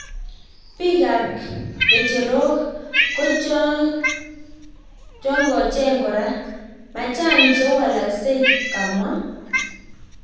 Pik ap kecherok ko chongocheng kora, machang che walaskek,"kamwa.